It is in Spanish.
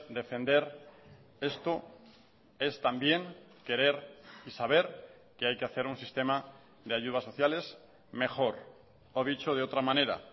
defender esto es también querer y saber que hay que hacer un sistema de ayudas sociales mejor o dicho de otra manera